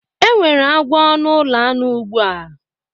Enwere agwo na ulo anu ugbu a